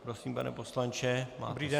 Prosím, pane poslanče, máte slovo.